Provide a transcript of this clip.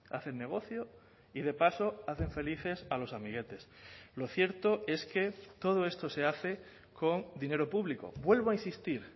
hacen negocio y de paso hacen felices a los amiguetes lo cierto es que todo esto se hace con dinero público vuelvo a insistir